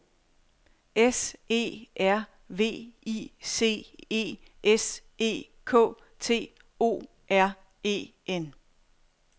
S E R V I C E S E K T O R E N